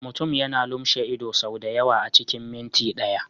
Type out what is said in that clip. Mutum yana lumshe ido sau da yawa a cikin minti ɗaya.